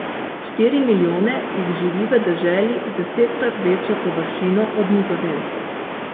Štiri milijone jih živi v deželi z desetkrat večjo površino od Nizozemske, ki ima triinpolkrat več prebivalcev.